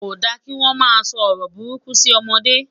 kò dá kí wọn má so ọrọ buruku si ọmọdé